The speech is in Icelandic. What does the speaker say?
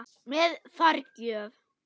Með forgjöf